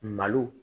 Malo